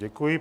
Děkuji.